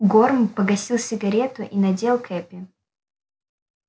горм погасил сигарету и надел кепи